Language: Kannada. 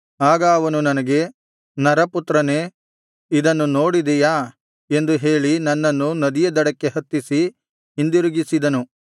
ಆಗ ಅವನು ನನಗೆ ನರಪುತ್ರನೇ ಇದನ್ನು ನೋಡಿದೆಯಾ ಎಂದು ಹೇಳಿ ನನ್ನನ್ನು ನದಿಯ ದಡಕ್ಕೆ ಹತ್ತಿಸಿ ಹಿಂದಿರುಗಿಸಿದನು